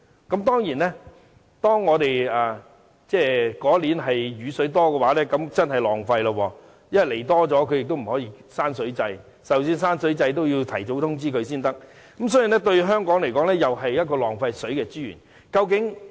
固然，雨量較多的年份是真的浪費了，因為供水多了也不可以關水掣，即使要關水掣也要提早通知才行，所以對香港來說是浪費水資源的。